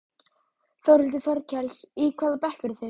Þórhildur Þorkelsdóttir: Í hvaða bekk eruð þið?